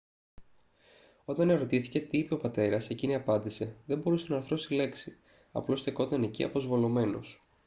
όταν ερωτήθηκε τι είπε ο πατέρας εκείνη απάντησε «δεν μπορούσε να αρθρώσει λέξη - απλώς στεκόταν εκεί αποσβολωμένος»